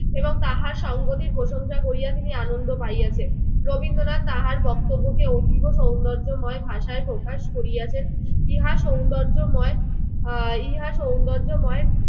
এবং তাহার সংঘটির প্রশংসা করিয়া তিনি আনন্দ পাইয়াছেন। রবীন্দ্রনাথ তাহার বক্তব্যকে অতীব সৌন্দর্যময় ভাষায় প্রকাশ করিয়াছেন। ইহা সৌন্দর্যময় আহ ইহা সৌন্দর্যময়